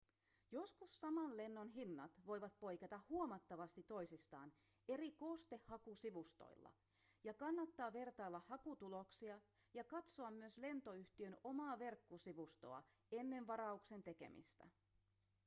joskus saman lennon hinnat voivat poiketa huomattavasti toisistaan eri koostehakusivustoilla ja kannattaa vertailla hakutuloksia ja katsoa myös lentoyhtiön omaa verkkosivustoa ennen varauksen tekemistä